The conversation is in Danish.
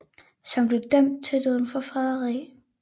Som blev dømt til døden for foræderi